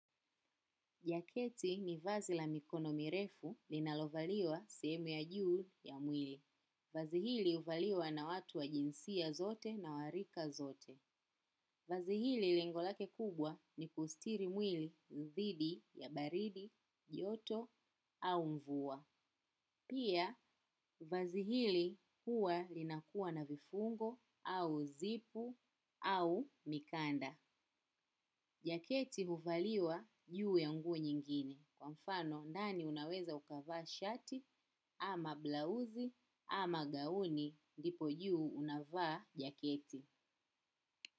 Jaketi ni vazi la mikono mirefu linalovaliwa sehemu ya juu ya mwili. Vazi hili huvaliwa na watu wa jinsia zote na warika zote. Vazi hili lengo lake kubwa ni kustiri mwili dhidi ya baridi, joto au mvua. Pia, vazi hili huwa linakuwa na vifungo au zipu au mikanda. Jaketi huvaliwa juu ya nguo nyingine kwa mfano ndani unaweza ukavaa shati ama blausi ama gauni ndipo juu unavaa jaketi.